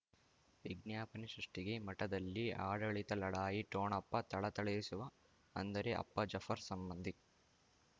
ವಿಜ್ಞಾಪನೆ ಸೃಷ್ಟಿಗೆ ಮಠದಲ್ಲಿ ಆಡಳಿತ ಲಢಾಯಿ ಠೊಣಪ ಥಳಥಳಿಸುವ ಅಂದರೆ ಅಪ್ಪ ಜಾಫರ್ ಸಂಬಂಧಿ